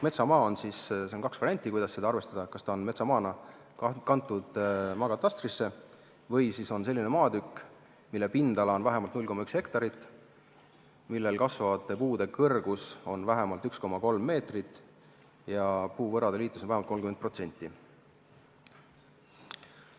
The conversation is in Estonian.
Metsamaa puhul on kaks varianti, kuidas seda arvestada: see on kas maatükk, mis on metsamaana maakatastrisse kantud, või siis maatükk, mille pindala on vähemalt 0,1 hektarit ning millel kasvavate puude kõrgus on vähemalt 1,3 meetrit ja puuvõrade liitus vähemalt 30%.